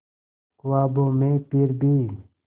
ख्वाबों में फिर भी